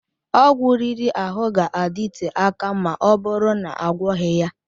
Ọgwụ riri ahụ ga-adịte akà ma ọbụrụ na-agwoghi ya.